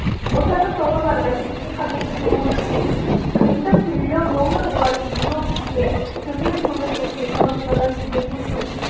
отандық тауарлар бәсекеге қабілетті болуы тиіс жиынтық трлн доллары болатын млн бізге төменкөміртекті экономикаға жедел көшу